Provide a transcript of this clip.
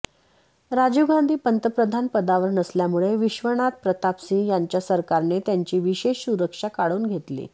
राजीव गांधी पंतप्रधान पदावर नसल्यामुळे विश्वनाथ प्रताप सिंह यांच्या सरकारने त्यांची विशेष सुरक्षा काढून घेतली